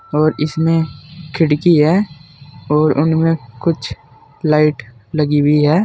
और इसमें खिड़की है और उनमें कुछ लाइट लगी हुई है।